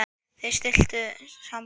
Þau slitu síðar sambúð.